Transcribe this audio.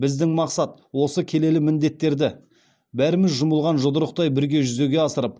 біздің мақсат осы келелі міндеттерді бәріміз жұмылған жұдырықтай бірге жүзеге асырып